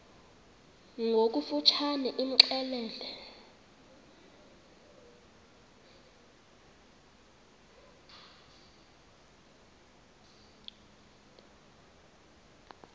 ngokofu tshane imxelele